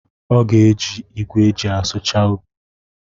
Ọ ga-eji igwe eji asụchasi ubi.